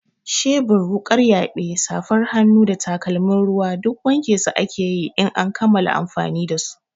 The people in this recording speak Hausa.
Shebur, wuƙar yaɓe, safar hannu da takalmin ruwa duk wanke su ake yi in an kammala amfani da su.